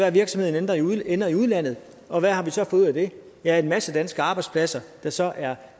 at virksomheden ender i udlandet og hvad har vi så fået ud af det ja en masse danske arbejdspladser der så er